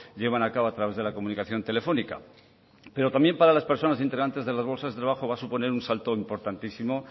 llevan a cabo a través de la comunicación telefónica pero también para las personas integrantes de las bolsas de trabajo va a suponer un salto importantísimo